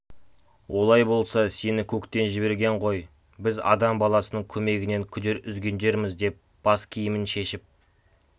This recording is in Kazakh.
олай болса сені көктен жіберген ғой біз адам баласының көмегінен күдер үзгендерміз деп бас киімін шешіп